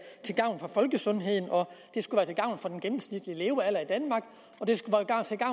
til gavn for folkesundheden og for den gennemsnitlige levealder i danmark